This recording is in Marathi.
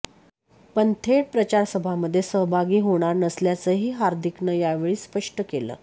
पण थेट प्रचारसभामध्ये सहभागी होणार नसल्याचंही हार्दीकनं यावेळी स्पष्ट केलं